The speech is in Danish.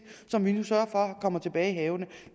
som vi nu sørger for kommer tilbage i havene